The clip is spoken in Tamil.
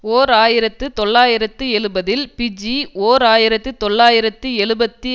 ஓர் ஆயிரத்து தொள்ளாயிரத்து எழுபதில் பிஜி ஓர் ஆயிரத்து தொள்ளாயிரத்து எழுபத்தி